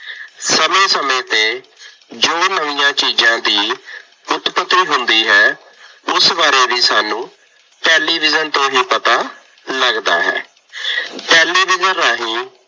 ਸਮੇਂ ਸਮੇਂ ਤੇ ਜੋ ਨਵੀਆਂ ਚੀਜ਼ਾਂ ਦੀ ਉਤਪਤੀ ਹੁੰਦੀ ਹੈ। ਉਸ ਬਾਰੇ ਵੀ ਸਾਨੂੰ ਟੈਲੀਵਿਜ਼ਨ ਤੇ ਹੀ ਪਤਾ ਲੱਗਦਾ ਹੈ। ਟੈਲੀਵਿਜ਼ਨ ਰਾਹੀਂ